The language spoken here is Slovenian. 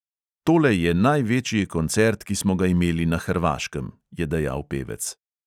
"Tole je največji koncert, ki smo ga imeli na hrvaškem," je dejal pevec.